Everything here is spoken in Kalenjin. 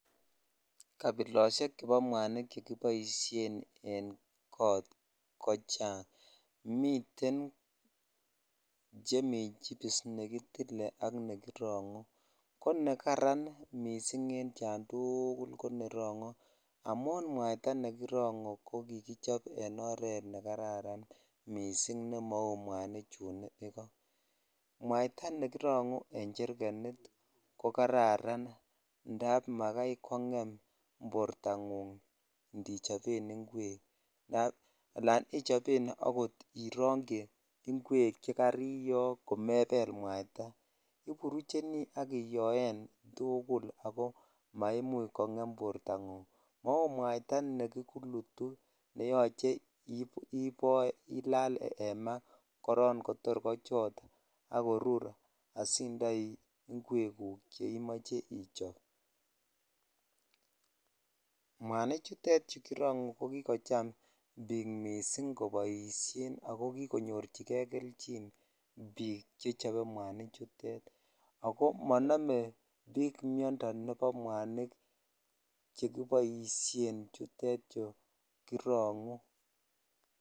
Kabiloshek chebo mwanik chekiboishen en kot kochang miten nemii chipis ,nekitile ak nekirongu ne jaran missing konekirongu amun mwaita nekirungu ko kikichop en oret ne kararan missing ne mau mwanik chun iko mwaitaa nekirongu nemi cherkenit ko kararan indap makai konyem bortangung indichoben ingogenik indap alan ichoben ot irukyi ingogenik chekariyo komebel mwaita iburucheni ak iyoen tugul ako maimuch kongem bortangung mau mwaita ne kikulutu ne yoche iboo olal en maa koron kotor kochot ak korur asindai ingogenik che Imoch ichob(puse) mwanik chutet chu kitongu ko kikocham bik missing koboishen ako kikonyorchi kri kelchin bik chebo mwani chutet ako monome bik miondoo nebo mwanik cheki oshen chutet chu kirongu.